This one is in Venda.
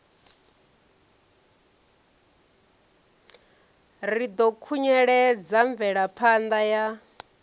ri ḓo khunyeledza mvelaphanda ya